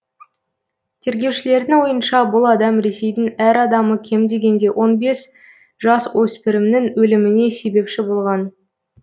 тергеушілердің ойынша бұл адам ресейдің әр адамы кем дегенде он бес жасөспірімнің өліміне себепші болған